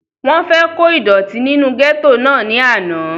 wọ́n fẹ́ kó ìdọ̀tí nínú gẹ́tò náà ní àná